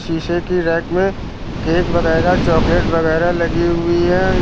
शीशे की रैक में केक वगैरा चॉकलेट वगैरा लगी हुई है।